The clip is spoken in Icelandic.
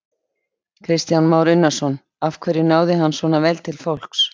Kristján Már Unnarsson: Af hverju náði hann svona vel til fólks?